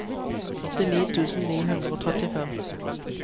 åttini tusen ni hundre og trettifem